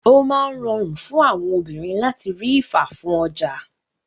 O máa ń rọrùn fún obìnrin láti rí ifá fún ọjà.